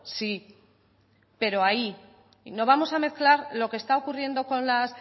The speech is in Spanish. sí pero ahí no vamos a mezclar lo que está ocurriendo con las